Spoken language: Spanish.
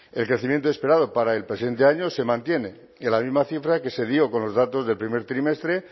el crecimiento esperado para el presente año se mantiene en la misma cifra que se dio con los datos del primer trimestre